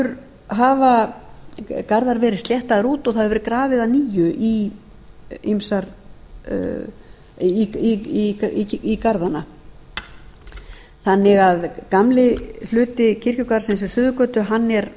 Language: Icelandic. garðar verið sléttaðir út og það hefur verið grafið að nýju í garða þannig að gamli hluti kirkjugarðsins við suðurgötu